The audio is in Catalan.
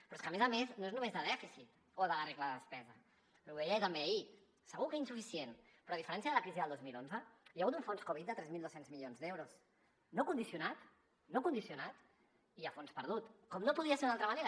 però és que a més a més no és només de dèficit o de la regla de despesa i ho deia ell també ahir segur que insuficient però a diferència de la crisi del dos mil onze hi ha hagut un fons covid de tres mil dos cents milions d’euros no condicionat no condicionat i a fons perdut com no podia ser d’una altra manera